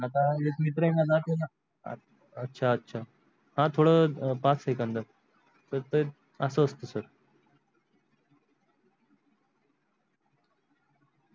आता एक मित्र आहे माझा पण अछा अछा हा थोडा पाच सेकंद ह तर अस अस्त sir.